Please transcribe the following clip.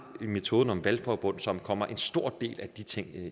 en metode med nogle valgforbund som kommer en stor del af de ting